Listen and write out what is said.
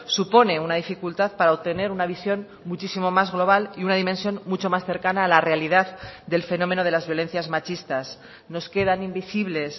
supone una dificultad para obtener una visión muchísimo más global y una dimensión mucho más cercana a la realidad del fenómeno de las violencias machistas nos quedan invisibles